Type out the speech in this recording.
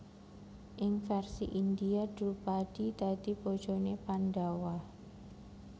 Ing versi India Drupadi dadi bojone Pandhawa